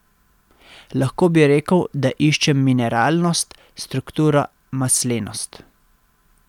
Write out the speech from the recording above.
Lahko bi rekel, da iščem mineralnost, strukturo, maslenost...